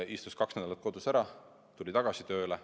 Istus kaks nädalat kodus ära, tuli tagasi tööle.